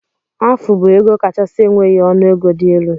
Afu bu ego kachasi enweghi ọnụ ego di elu.